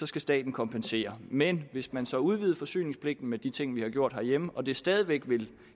skal staten kompensere men hvis man så udvider forsyningspligten med de ting vi har gjort herhjemme og det stadig væk